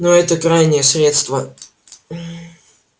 но это крайнее средство